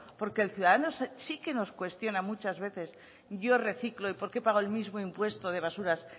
porque el ciudadano sí que nos cuestiona muchas veces yo reciclo y por qué pago el mismo impuesto de basuras